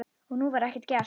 Og nú var ekkert gert.